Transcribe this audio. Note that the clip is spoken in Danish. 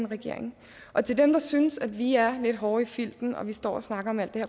regeringen til dem der synes at vi er lidt hårde i filten når vi står og snakker om alt det